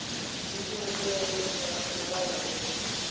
Mér sýnist þeir nú ekki haga sér svo skynsamlega.